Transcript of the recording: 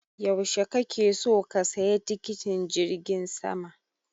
Yaushe kake so ka saya tikitin jirgin sama?